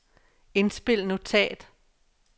indspil notat